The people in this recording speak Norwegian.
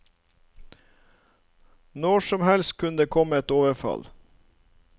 Når som helst kunne det komme et overfall.